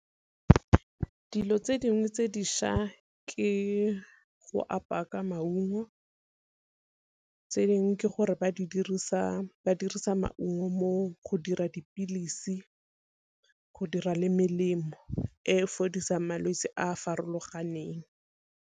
Dilo tse dingwe tse dišwa ke go apaya ka maungo, tse dingwe ke gore ba di dirisa ba dirisa maungo mo go dira dipilisi, go dira le melemo e fodisang malwetse a farologaneng.